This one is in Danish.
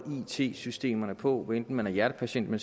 it systemerne på hvad enten man er hjertepatient og